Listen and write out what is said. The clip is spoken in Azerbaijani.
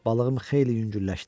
Balığım xeyli yüngülləşdi.